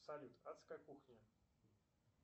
салют адская кухня